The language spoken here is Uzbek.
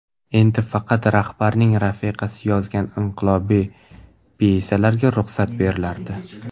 Endi faqat rahbarning rafiqasi yozgan inqilobiy pyesalarga ruxsat berilardi.